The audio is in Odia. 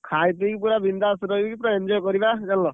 ଖାଇ ପିକି ପୁରା ବିନଦାସ ରହିକି ପୁରା enjoy କରିବା ଜାଣିଲ।